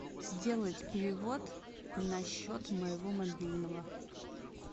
сделать перевод на счет моего мобильного